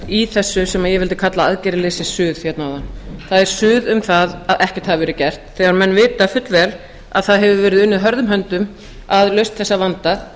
í þessu sem ég vildi kalla aðgerðaleysissuð hérna áðan það er suð um það að ekkert hafi verið gert þegar menn vita fullvel að það hefur verið unnið hörðum höndum að lausn þessa vanda